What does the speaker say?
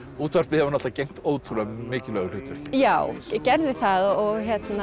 útvarpið hefur gegnt ótrúlega mikilvægu hlutverki já gerði það og